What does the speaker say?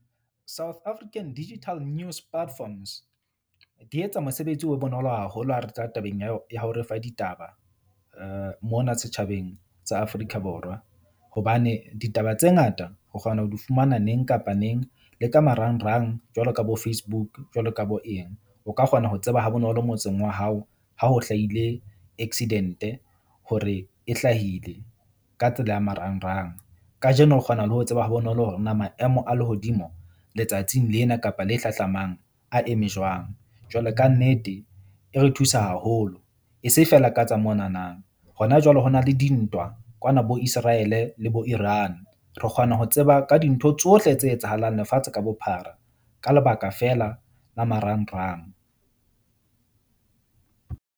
South African Digital News Platforms di etsa mosebetsi o be bonolo haholo ha re tla tabeng ya ho re fa ditaba mona setjhabeng sa Afrika Borwa. Hobane ditaba tse ngata o kgona ho di fumana neng kapa neng le ka marangrang jwalo ka bo-Facebook jwalo ka bo eng. O ka kgona ho tseba ha bonolo motseng wa hao, ha ho hlahile accident hore e hlahile ka tsela ya marangrang. Kajeno o kgona le ho tseba ha bonolo hore na maemo a lehodimo letsatsing lena kapa le hlahlamang a eme jwang. Jwale ka nnete e re thusa haholo e se feela ka tsa mona na. Hona jwale ho na le dintwa kwana bo Israel-e le bo Iran. Re kgona ho tseba ka dintho tsohle tse etsahalang lefatshe ka bophara ka lebaka fela la marangrang.